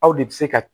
Aw de bɛ se ka